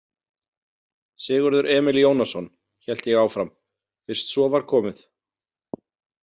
Sigurður Emil Jónasson, hélt ég áfram, fyrst svo var komið.